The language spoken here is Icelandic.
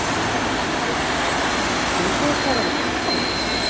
Birta: Vitið þið hvað var í pakkanum?